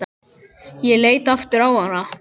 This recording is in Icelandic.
Ég leit aftur á hana.